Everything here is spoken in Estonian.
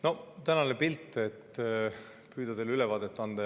No püüan teile tänasest pildist ülevaate anda.